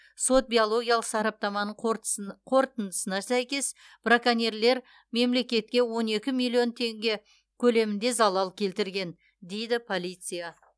сот биологиялық сараптаманың қорытындысына сәйкес браконьерлер мемлекетке он екі миллион теңге көлемінде залал келтірген дейді полиция